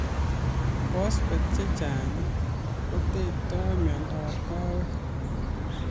Phospates chechang' kotektoi miondap kawek